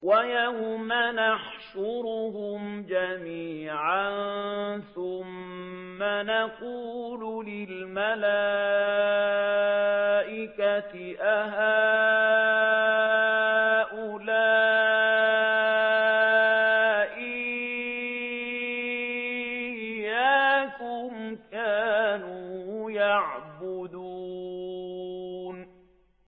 وَيَوْمَ يَحْشُرُهُمْ جَمِيعًا ثُمَّ يَقُولُ لِلْمَلَائِكَةِ أَهَٰؤُلَاءِ إِيَّاكُمْ كَانُوا يَعْبُدُونَ